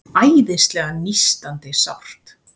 Æðislega nístandi sárt.